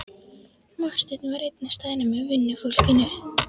Marteinn var einn á staðnum með vinnufólkinu.